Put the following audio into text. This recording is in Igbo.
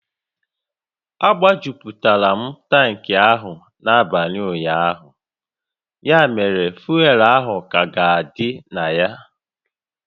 A gbajuputara m tankị ahụ n'abalị ụnyaahụ, ya mere fuel ahụ ka ga-adị na ya